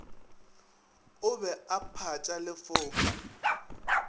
o be a phatša lefoka